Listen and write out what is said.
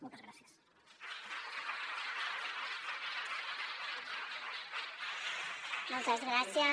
moltes gràcies